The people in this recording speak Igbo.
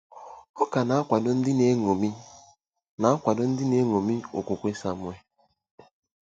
Ọ ka na-akwado ndị na-eṅomi na-akwado ndị na-eṅomi okwukwe Samuel.